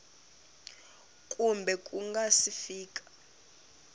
kumbe ku nga si fika